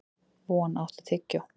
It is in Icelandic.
Von, áttu tyggjó?